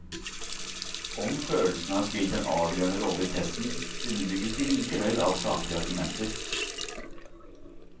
Om følelsene har spilt en avgjørende rolle i testen, underbygges de likevel av saklige argumenter.